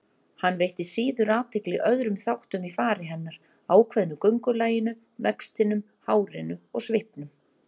Hann veitti síður athygli öðrum þáttum í fari hennar, ákveðnu göngulaginu, vextinum, hárinu, svipnum.